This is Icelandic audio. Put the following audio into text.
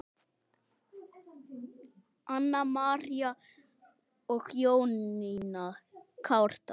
Anna María og Jónína Kárdal.